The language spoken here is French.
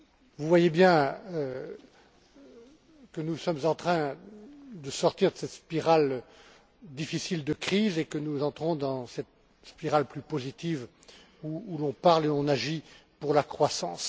Vous voyez bien que nous sommes en train de sortir de cette spirale difficile de crise et que nous entrons dans cette spirale plus positive où l'on parle et on agit pour la croissance.